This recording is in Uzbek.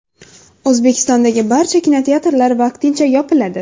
O‘zbekistondagi barcha kinoteatrlar vaqtincha yopiladi.